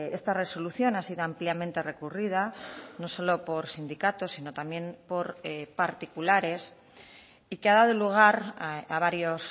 esta resolución ha sido ampliamente recurrida no solo por sindicatos sino también por particulares y que ha dado lugar a varios